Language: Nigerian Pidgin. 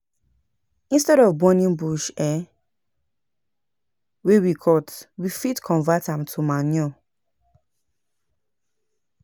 Instead of burning bush um wey we cut, we fit convert am to manure